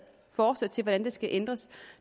forslag til hvordan det skal ændres